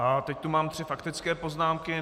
A teď tu mám tři faktické poznámky.